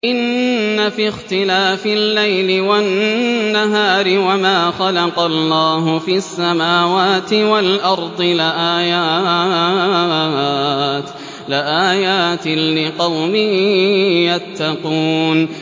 إِنَّ فِي اخْتِلَافِ اللَّيْلِ وَالنَّهَارِ وَمَا خَلَقَ اللَّهُ فِي السَّمَاوَاتِ وَالْأَرْضِ لَآيَاتٍ لِّقَوْمٍ يَتَّقُونَ